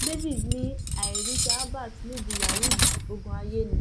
david ni àìríṣẹ albert nídìí yahoo yìí ogún ayé ni